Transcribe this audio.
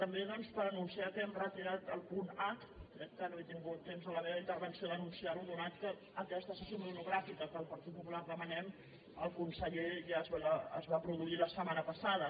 també doncs per anunciar que hem retirat el punt h crec que no he tingut temps en la meva intervenció d’anunciar·ho atès que aques·ta sessió monogràfica que el partit popular demanem amb el conseller ja es va produir la setmana passada